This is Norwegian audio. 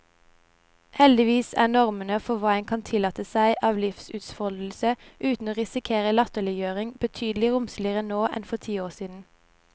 Heldigvis er normene for hva en kan tillate seg av livsutfoldelse uten å risikere latterliggjøring, betydelig romsligere nå enn for noen tiår siden.